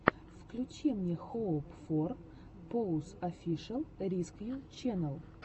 включи мне хоуп фор поус офишэл рискью ченнел